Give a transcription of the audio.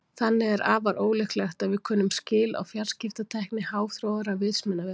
Þannig er afar ólíklegt að við kunnum skil á fjarskiptatækni háþróaðra vitsmunavera.